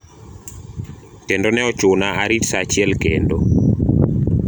kendo ne ochuna arit saa achiel kendo